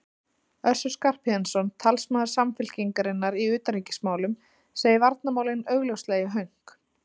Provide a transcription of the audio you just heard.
Össur Skarphéðinsson, talsmaður Samfylkingarinnar í utanríkismálum, segir varnarmálin augljóslega í hönk.